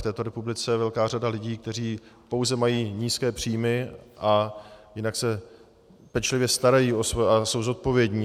V této republice je velká řada lidí, kteří pouze mají nízké příjmy a jinak se pečlivě starají a jsou zodpovědní.